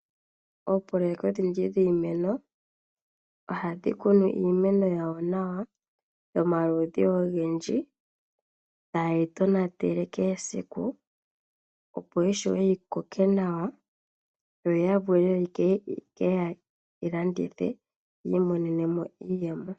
Oopoloyeka odhindji dhiimeno ohadhi kunu iimeno yayo nawa yomaludhi ogendji ha yeyi tonatele keshe esiku opo yishuwe yikoke nawa yo ya vule ye keyi landithe yo yamone mo iiyemo.